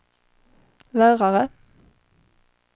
lärare